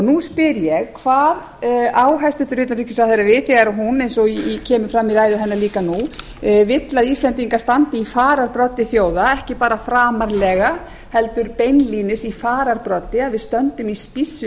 nú spyr ég hvað á hæstvirtan utanríkisráðherra við þegar hún eins og kemur fram í ræðu hennar líka nú vill að íslendingar standi í fararbroddi þjóða ekki bara framarlega heldur beinlínis í fararbroddi að við stöndum í spíssi